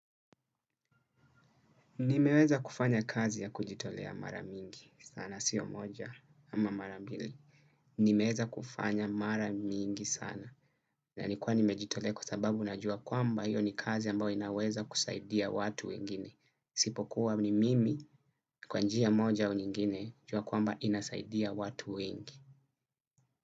Nimeweza kufanya kazi ya kujitolea mara mingi sana, siyo moja ama mara mbili. Nimeweza kufanya maramingi sana. Na nikuwa nimejitolea kwa sababu najua kwamba hiyo ni kazi ambao inaweza kusaidia watu wengine. Isipo kuwa ni mimi kwanjia moja au nyingine jua kwamba inasaidia watu wengi.